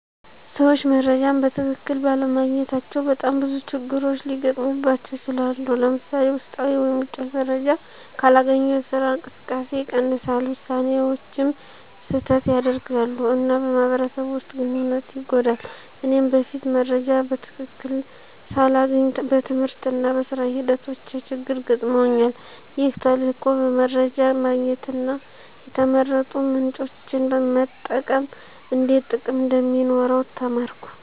ሰዎች መረጃን በትክክል ባለማግኘታቸው በጣም ብዙ ችግሮች ሊገጥሙባቸው ይችላሉ። ለምሳሌ፣ ውስጣዊ ወይም ውጪ መረጃ ካላገኙ የስራ እንቅስቃሴ ይቀንሳል፣ ውሳኔዎችም ስህተት ያደርጋሉ፣ እና በማህበረሰብ ውስጥ ግንኙነት ይጎዳል። እኔም በፊት መረጃ በትክክል ሳላገኝ በትምህርትና በሥራ ሂደቶቼ ችግር ገጥመውኛል። ይህ ተልዕኮ በመረጃ ማግኘትና የተመረጡ ምንጮችን መጠቀም እንዴት ጥቅም እንደሚኖረው ተማርኩ።